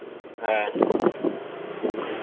হ্যাঁ হম